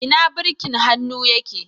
Ina birkin hannu yake.